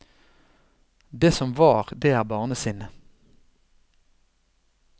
Det som var, det er barnesinnet.